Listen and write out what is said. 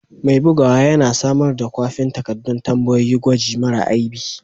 Mai bugawa yana samar da kwafin takaddun tambayoyin gwaji mara aibi.